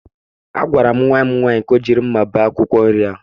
Agwara m nwa nwaanyị ka o jiri mma bee akwụkwọ nri ahụ.